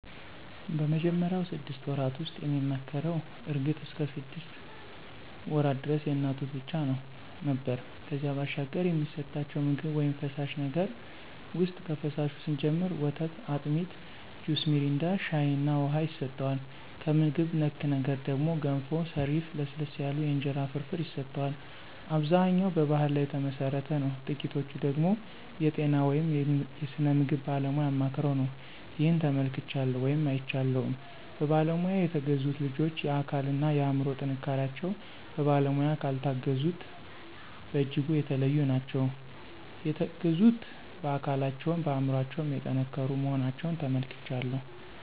በመጀመሪያው ስድስት ወራት ውስጥ የሚመከረው እርግጥ እስከ ሰድስት ወራት ደረስ የእናት ጡት ብቻ ነው ነበር ከዚያ ባሻገር የሚሰጠቸው ምግብ ውይም ፈሳሽ ነገር ውሰጥ ከፈሳሹ ስንጀምር ወተት፣ አጢሚት፣ ጁስ ሚሪንዳ፣ ሻይ እና ውሃ ይሰጠዋል። ከምግብ ነክ ነገር ደግሞ ገንፎ፣ ሰሪፍ፣ ለስለስ ያሉ የእንጀራ ፍርፍር ይሰጠዋል። አብዛኛው በባሕል ላይ ተመሠረተ ነው ጥቂቶቹ ደገሞ የጤና ወይም የስነ ምግብ ባለሙያ አማክረው ነው። ይህን ተመልክቻለሁ ወይም አይቻለሁም። በባለሙያ የተገዙት ልጆች የአካል እና የአምሮ ጥንካሪቸው በባለሙያ ካልታገዙት በጅጉ የተለዩ ናቸው። የተገዙት በአካለቸውም በአምሮቸው የጠንከሩ መሆናቸውን ተመልክቻለሁ።